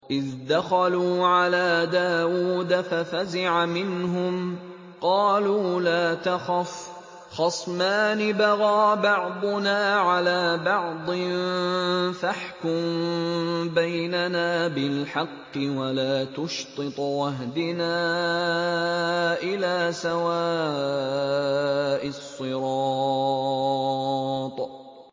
إِذْ دَخَلُوا عَلَىٰ دَاوُودَ فَفَزِعَ مِنْهُمْ ۖ قَالُوا لَا تَخَفْ ۖ خَصْمَانِ بَغَىٰ بَعْضُنَا عَلَىٰ بَعْضٍ فَاحْكُم بَيْنَنَا بِالْحَقِّ وَلَا تُشْطِطْ وَاهْدِنَا إِلَىٰ سَوَاءِ الصِّرَاطِ